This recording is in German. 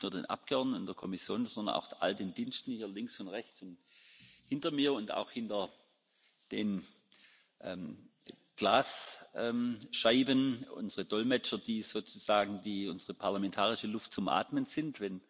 Ich danke nicht nur den Abgeordneten, der Kommission, sondern auch all den Diensten da links und rechts und hinter mir und hinter den Glasscheiben unsere Dolmetscher, die sozusagen unsere parlamentarische Luft zum Atmen sind.